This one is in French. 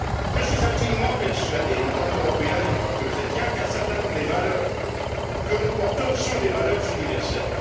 Je suis intimement persuadé, en tant qu'Européen et en tant que chrétien, qu'un certain nombre des valeurs que nous portons sont des valeurs universelles.